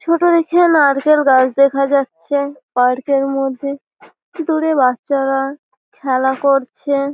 ছোট দেখে নারকেল গাছ দেখা যাচ্ছে পার্ক -এর মধ্যে দূরে বাচ্চারা খেলা করছে।